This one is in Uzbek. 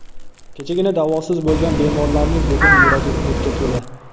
Kechagina davosiz bo‘lgan bemorlarning bugun yuragi umidga to‘la.